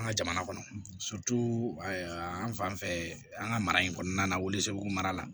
An ka jamana kɔnɔ an fan fɛ an ka mara in kɔnɔna la mara la